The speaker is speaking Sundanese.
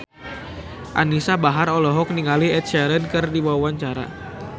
Anisa Bahar olohok ningali Ed Sheeran keur diwawancara